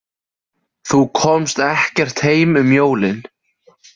Þú komst ekkert heim um jólin?